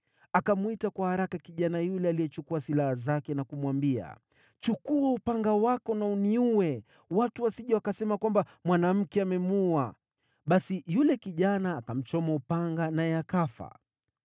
Akamwita kwa haraka kijana yule aliyechukua silaha zake, na kumwambia, “Chukua upanga wako na uniue, watu wasije wakasema kwamba, ‘Mwanamke amemuua.’ ” Basi yule kijana akamchoma upanga, naye akafa.